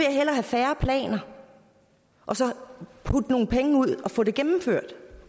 hellere have færre planer og så putte nogle penge ud og få det gennemført